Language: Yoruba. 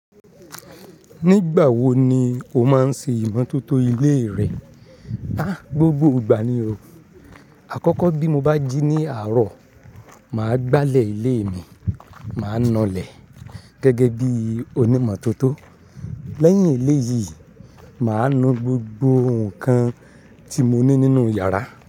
Nígbà wo ni o máa ń ṣe ìmọ̀tótó ilé rẹ? Gbogbo ìgbà ni o. Àkọ́kọ́ bí mo bá jí ní àárọ̀, mà á gbálẹ̀ ilé mi, mà á nù'lẹ̀ gẹ́gẹ́ bí onímọ̀tótó. Lẹ́yìn ilé yìí, mà á nu gbogbo ohun kan tí mo ní nínú yàrá.